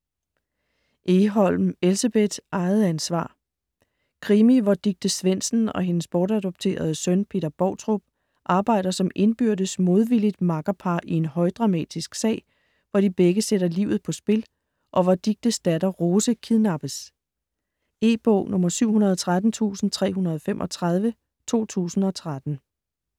Egholm, Elsebeth: Eget ansvar Krimi hvor Dicte Svendsen og hendes bortadopterede søn, Peter Boutrup, arbejder som indbyrdes modvilligt makkerpar i en højdramatisk sag, hvor de begge sætter livet på spil, og hvor Dictes datter, Rose, kidnappes. E-bog 713335 2013.